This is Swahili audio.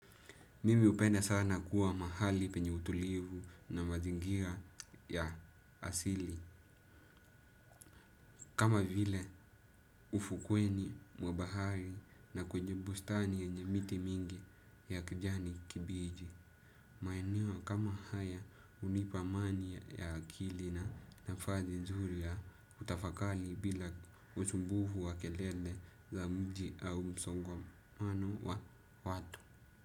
Mimi upenda sana kuwa mahali penye utulivu na mazingira ya asili. Kama vile ufukweni mwa bahari na kwenye bustani yenye miti mingi ya kijani kibiji. Maeneo kama haya unipa amani ya akili na nafazi nzuri ya utafakali bila usumbuhu wa kelele za mji au msongamano wa watu.